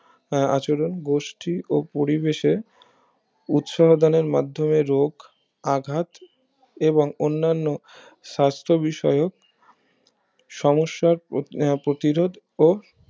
আহ আচরণ গোষ্ঠী ও পরিবেশের উৎসাহদানে মাধ্যমে রোগ আঘাত এবং অন্নান্য সাস্থ বিষয়ক সমস্যার আহ প্রতিরোধ ও